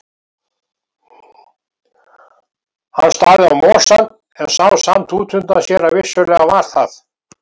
Hann starði á mosann, en sá samt út undan sér að vissulega var það